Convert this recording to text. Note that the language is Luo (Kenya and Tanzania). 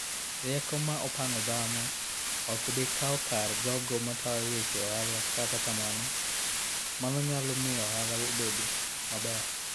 Rieko ma opong'o dhano ok bi kawo kar jogo matayo weche ohala, kata kamano, mano nyalo miyo ohala obed maber